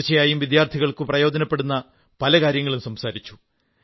തീർച്ചയായും വിദ്യാർഥികൾക്കു പ്രയോജനപ്പെടുന്ന പല കാര്യങ്ങളും സംസാരിച്ചു